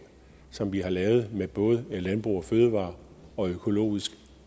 som vi har lavet med både landbrug fødevarer og økologisk